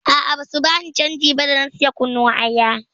A'a, basu bani canji ba da na saya kunun aya.